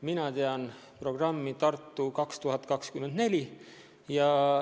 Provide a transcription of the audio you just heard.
Mina tean programmi "Tartu 2024".